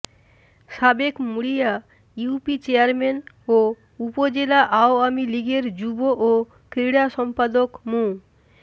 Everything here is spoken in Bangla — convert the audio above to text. সাবেক মুড়িয়া ইউপি চেয়ারম্যান ও উপজেলা আওয়ামী লীগের যুব ও ক্রীড়া সম্পাদক মু